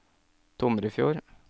Tomrefjord